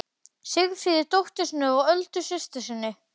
Sigríði dóttur sinni og Öldu systur sinni.